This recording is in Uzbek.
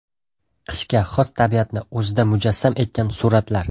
Qishga xos tabiatni o‘zida mujassam etgan suratlar.